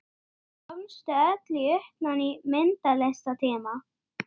Mér fannst ég heyra hljóð.